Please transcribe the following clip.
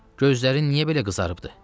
Gözlərin niyə belə qızarıbdır?